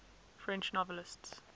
french novelists